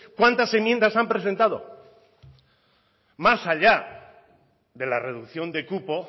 cuántas enmiendas han presentado más allá de la reducción de cupo